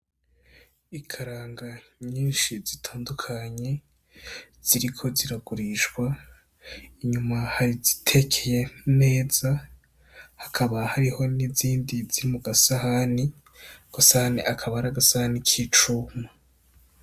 Ikaranga nyinshi zitandukanye ziriko ziragurishwa inyuma hazitekeye neza hakaba hariho n' izindi ziri muga sahani ako gasahani akaba ari agasahani k'icuma.